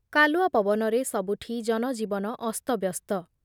କାଲୁଆ ପନବରେ ସବୁଠି ଜନଜୀବନ ଅସ୍ତବ୍ୟସ୍ତ ।